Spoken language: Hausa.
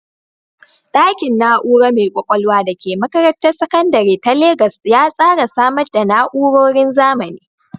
Ɗakin na’ura mai ƙwaƙwalwa da ke makarantar sakandare ta Legas ya tsara samar da na’urorin zamani